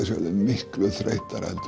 sé orðið miklu þreyttara heldur